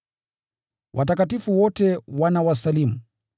Watakatifu wote wanawasalimu.